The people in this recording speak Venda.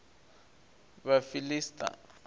vhafiḽisita